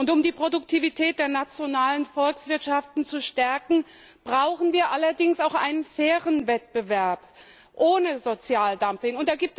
Um die Produktivität der nationalen Volkswirtschaften zu stärken, brauchen wir allerdings auch einen fairen Wettbewerb ohne Sozialdumping.